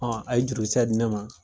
Hɔn a ye jurukisɛ di ne ma